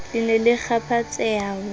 le ne le kgaphatseha ho